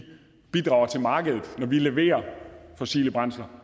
bidrager til markedet og levere fossile brændsler